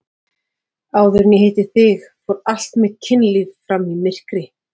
Áður en ég hitti þig fór allt mitt kynlíf fram í myrkri.